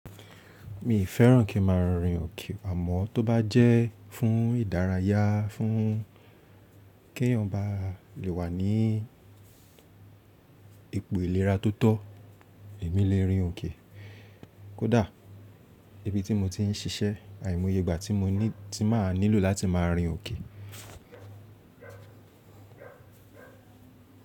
Mi fẹ́ràn kí n má a rinrin òkè àmọ́ tó bá jẹ́ fún ìdárayá fún kí ẹ̀eyàn bá lè wà ní ipò ìlera tó tọ́, èmi lè rin òkè. Kódà ibi tí mo ti ń ṣiṣẹ́, àìmoye igba tí mo ní tí máa nílò láti máa rin òkè.